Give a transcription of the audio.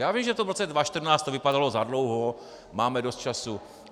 Já vím, že to v roce 2014 vypadalo za dlouho, máme dost času.